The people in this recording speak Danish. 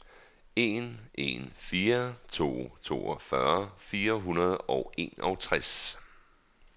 en en fire to toogfyrre fire hundrede og enogtres